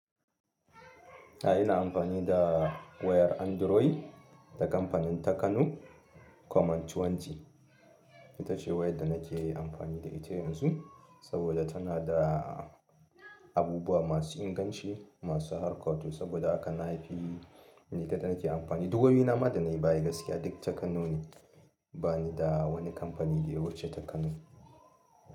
A'a ina amfani da wayar Android ta kamfanin ta Kano kwaman tuwanti. Ita ce wayar da nake yi amfani da ita yanzu saboda tana da abubuwa masu inganci, masu harka to saboda haka na fi ni kaɗai nake amfani. Duk wayoyina ma da na yi baya gaskiya duk ta Kano ne. Ba ni da wani kamfani da wuce ta Kano.